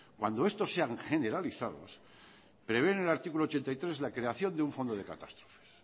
cuando estos sean generalizados prevé en el artículo ochenta y tres la creación de un fondo de catástrofes